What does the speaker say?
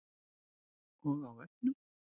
Og á vefnum.